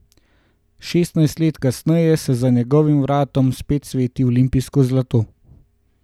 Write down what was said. Šestnajst let kasneje se za njegovim vratom spet sveti olimpijsko zlato.